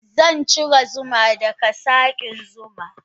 Zancire zuma daga sakin zuman.